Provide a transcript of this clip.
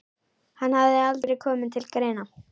Hann hafði aldrei komið til greina.